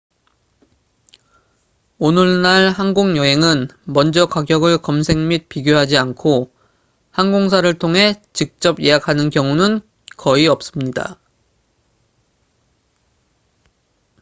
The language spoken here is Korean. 오늘날 항공 여행은 먼저 가격을 검색 및 비교하지 않고 항공사를 통해 직접 예약하는 경우는 거의 없습니다